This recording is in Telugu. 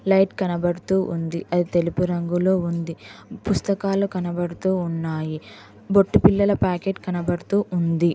లైట్ కనబడుతూ ఉంది అది తెలుపు రంగులో ఉంది పుస్తకాలు కనబడుతూ ఉన్నాయి బొట్టు పిల్లల ప్యాకెట్ కనబడుతూ ఉంది.